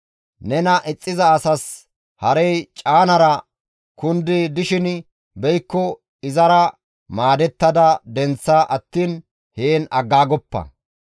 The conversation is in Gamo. Nena ixxiza asas harey caanara kundi dishin be7ikko izara maadettada denththa attiin heen agaagoppa.